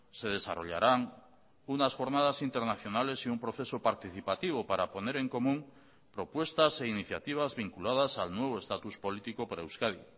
se desarrollarán unas jornadas internacionales y un proceso participativo para poner en común propuestas e iniciativas vinculadas al nuevo estatus político para euskadi